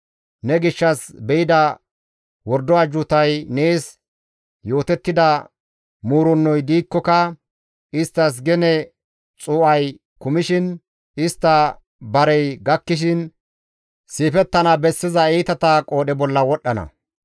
Ne gishshas be7ida wordo ajjuutay, nees yootettida muurennoy diikkoka, isttas gene xuu7ay kumishin, istta barey gakkishin siifettana bessiza iitata qoodhe bolla wodhdhana.